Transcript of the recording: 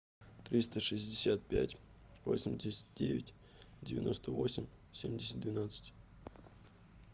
триста шестьдесят пять восемьдесят девять девяносто восемь семьдесят двенадцать